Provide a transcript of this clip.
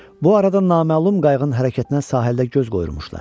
Bu arada naməlum qayığın hərəkətinə sahildə göz qoyulmuşdular.